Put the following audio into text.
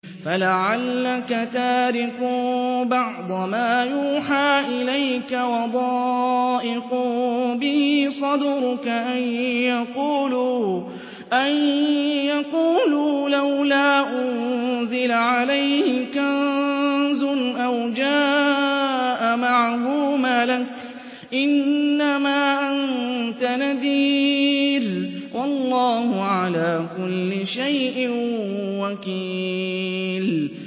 فَلَعَلَّكَ تَارِكٌ بَعْضَ مَا يُوحَىٰ إِلَيْكَ وَضَائِقٌ بِهِ صَدْرُكَ أَن يَقُولُوا لَوْلَا أُنزِلَ عَلَيْهِ كَنزٌ أَوْ جَاءَ مَعَهُ مَلَكٌ ۚ إِنَّمَا أَنتَ نَذِيرٌ ۚ وَاللَّهُ عَلَىٰ كُلِّ شَيْءٍ وَكِيلٌ